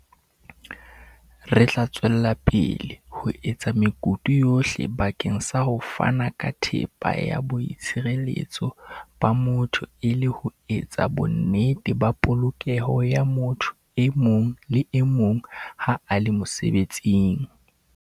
"Re tla tswela pele ho etsa mekutu yohle bakeng sa ho fana ka thepa ya boitshireletso ba motho e le ho etsa bonnete ba polokeho ya motho e mong le e mong ha a le mosebetsing."